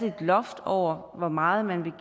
loft over hvor meget man ville